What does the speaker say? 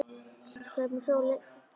Sveinberg, hvað er í dagatalinu í dag?